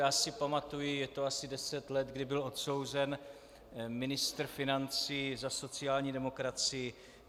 Já si pamatuji, je to asi deset let, kdy byl odsouzen ministr financí za sociální demokracii.